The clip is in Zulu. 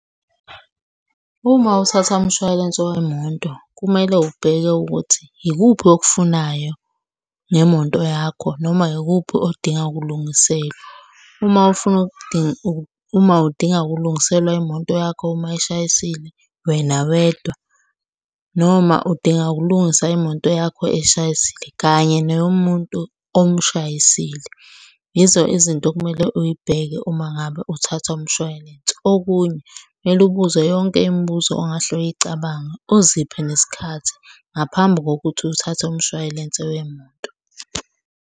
Uma uthatha umshwalense wemoto, kumele ubheke ukuthi yikuphi okufunayo ngemoto yakho noma yikuphi odinga ukulungiselwa. Uma ufuna , uma udinga ukukulungiselwa imoto yakho uma ishayisile wena wedwa, noma udinga ukulungisa imoto yakho eshayisile kanye neyomuntu omshayisile. Yizo izinto okumele uy'bheke uma ngabe uthatha umshwalense. Okunye kumele ubuze yonke imibuzo ongahle uyicabanga, uziphe nesikhathi ngaphambi kokuthi uthathe umshwalense wemoto.